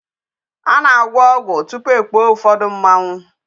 A na-agwọ ọgwụ tupu ekpuo ụfọdụ mmanwụ.